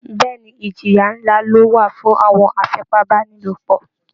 Bẹ́ẹ̀ ni, ìjìyà ńlá ló wà fún àwọn afipábánilòpọ̀